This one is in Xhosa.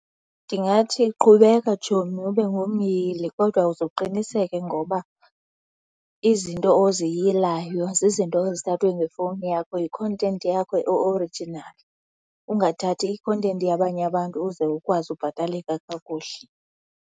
Ndingathi qhubeka, tshomi, ube ngumyili kodwa uze uqiniseke ngoba izinto oziyilayo zizinto ezithathwe ngefowuni yakho, yi-content yakho e-original. Ungathathi i-content yabanye abantu uze ukwazi ubhataleka kakuhle.